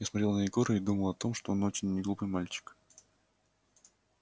я смотрел на егора и думал о том что он очень неглупый мальчик